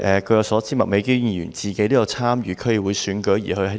據我所知，麥美娟議員本身有參與區議會選舉。